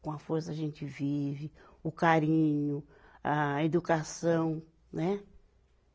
Com a força a gente vive, o carinho, a educação, né?